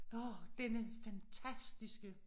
Nå denne fantastiske